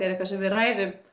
er eitthvað sem við ræðum